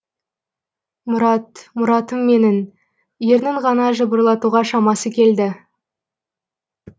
мұрат мұратым менің ернін ғана жыбырлатуға шамасы келді